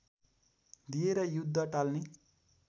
दिएर युद्ध टाल्ने